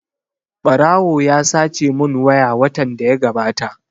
Ɓarawo ya sace mun waya watan da ya gabata